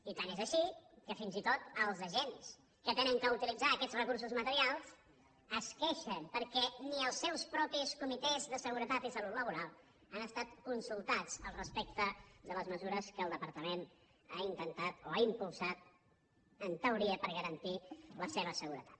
i tant és així que fins i tot els agents que han d’utilitzar aquests recursos materials es queixen perquè ni els seus propis comitès de seguretat i salut laboral han estat consultats al respecte de les mesures que el departament ha impulsat en teoria per garantir la seva seguretat